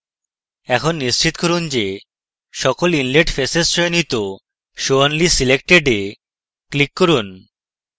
এখন নিশ্চিত করতে যে সকল inlet faces চয়নিত show only selected এ click করুন